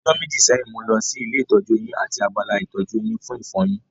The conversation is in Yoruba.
Ọjọ́ méjì sẹ́yìn, mo lọ sí ilé ìtọ́jú eyín àti abala ìtọ́jú eyín fún ìfọyin